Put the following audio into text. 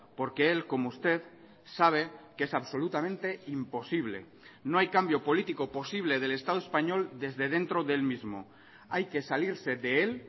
porque él como usted sabe que es absolutamente imposible no hay cambio político posible del estado español desde dentro del mismo hay que salirse de él